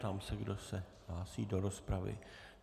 Ptám se, kdo se hlásí do rozpravy.